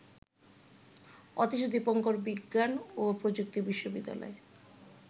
অতীশ দীপঙ্কর বিজ্ঞান ও প্রযুক্তি বিশ্ববিদ্যালয়